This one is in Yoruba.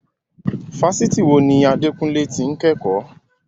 Fásitì wo ni Adekunle ti ń kẹ́kọ̀ọ́?